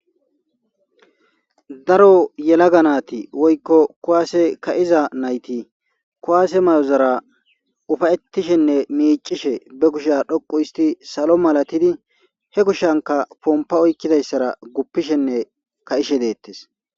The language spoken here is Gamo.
Daro yelaga naati woykko kuwase ka'iza nayti kuwase mayozara ufa'ettishenne miiccishe be kushe dhoqqo histidi salo malatidi he kushankka ponpa oykidayssara guppishenne ka'ishe deettes.